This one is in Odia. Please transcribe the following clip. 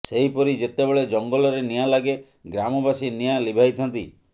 ସେହିପରି ଯେତେବେଳେ ଜଙ୍ଗଲରେ ନିଆଁ ଲାଗେ ଗ୍ରାମବାସୀ ନିଆଁ ଲିଭାଇଥାନ୍ତି